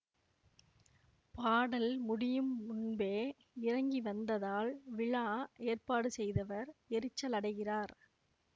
பாடல் முடியும் முன்பே இறங்கி வந்ததால் விழா ஏற்பாடு செய்தவர் எரிச்சலடைகிறார்